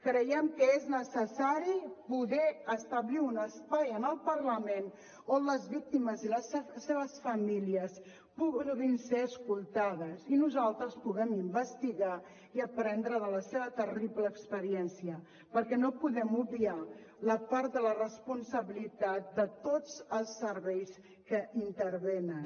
creiem que és necessari poder establir un espai en el parlament on les víctimes i les seves famílies puguin ser escoltades i nosaltres puguem investigar i aprendre de la seva terrible experiència perquè no podem obviar la part de la responsabilitat de tots els serveis que hi intervenen